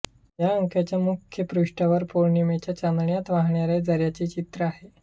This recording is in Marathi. या अंकाच्या मुखपृष्ठावर पौर्णिमेच्या चांदण्यात वाहणाऱ्या झऱ्याचे चित्र आहे